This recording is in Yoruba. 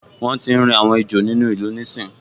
Wọ́n tíi rí àwọn ejò nínú ìlú níìsín